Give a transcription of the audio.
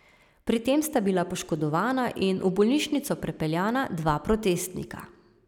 Pri tem sta bila poškodovana in v bolnišnico prepeljana dva protestnika.